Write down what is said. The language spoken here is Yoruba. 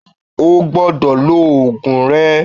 O gbodò lo òògùn re